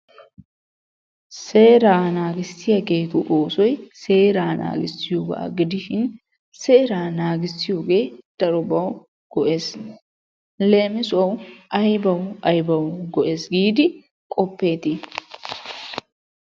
Seeraa naagissiyaageetu oosoy seeraa naagissiyoogaa gidishin seeraa naagissiyoogee darobawu go'ees. leemissuwawu aybawu aybawu go'ees giidi qopeettii?